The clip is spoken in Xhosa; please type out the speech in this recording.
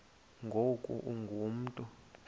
ngoku ungu mntu